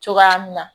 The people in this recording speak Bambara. Cogoya min na